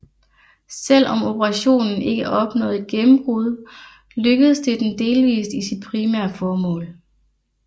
Selv om operationen ikke opnåede et gennembrud lykkedes den delvis i sit primære formål